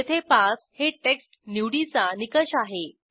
येथे पास हे टेक्स्ट निवडीचा निकष आहे